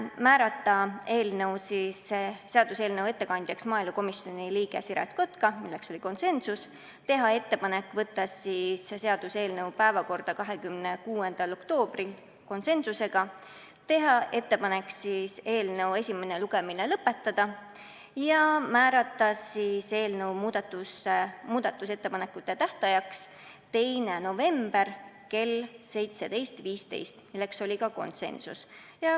Määrata seaduseelnõu ettekandjaks maaelukomisjoni liige Siret Kotka , teha ettepanek võtta seaduseelnõu päevakorda 26. oktoobriks , teha ettepanek eelnõu esimene lugemine lõpetada ja määrata muudatusettepanekute tähtajaks 2. november kell 17.15 .